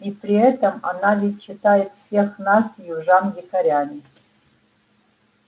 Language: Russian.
и при этом она ведь считает всех нас южан дикарями